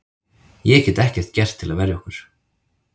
Ég get ekkert gert til að verja okkur.